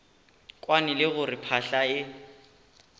kwane le gore phahla e